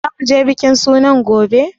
Za mu je bikin sunan gobe?